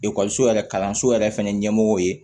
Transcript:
Ekɔliso yɛrɛ kalanso yɛrɛ fana ɲɛmɔgɔ ye